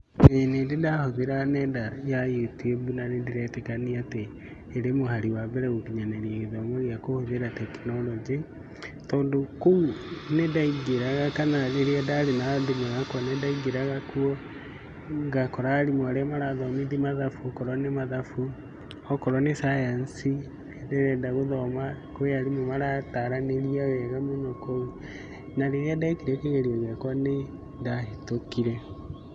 ĩĩ nĩndĩ ndahũthĩra nenda ya YouTube na nĩndĩretĩkania atĩ ĩrĩ mũhari wa mbere gũkinyanĩria gĩthomo gĩa kũhũthĩra tekinoronjĩ, tondũ kũu nĩndaingĩraga kana rĩrĩa ndarĩ na thimũ yakwa nĩndaingĩraga kuo ngakora arimũ arĩa marathomithia mathabu okorwo nĩ mathabu, okorwo nĩ science ndĩrenda gũthoma kũrĩ arimũ marataranĩria wega mũno kũu na rĩrĩa ndekire kĩgerio gĩakwa nĩndahetũkire.